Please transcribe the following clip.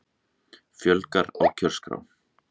Fjölgar á kjörskrá